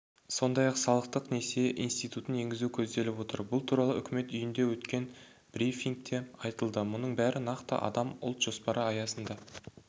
сондай-ақ салықтық несие институтын енгізу көзделіп отыр бұл туралы үкімет үйінде өткен брифингте айтылды мұның бәрі нақты қадам ұлт жоспары аясында